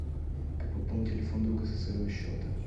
как пополнить телефон друга со своего счета